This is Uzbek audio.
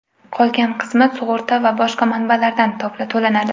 Qolgan qismi sug‘urta va boshqa manbalardan to‘lanadi.